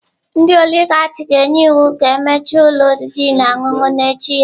Ndị oligarch ga-enye iwu ka emechie ụlọ oriri na ọṅụṅụ n'echi ya.